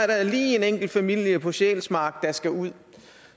der er lige en enkelt familie på sjælsmark der skal ud